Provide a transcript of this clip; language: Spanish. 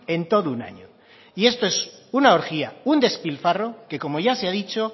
en todo un año y esto es una orgía un despilfarro que como ya se ha dicho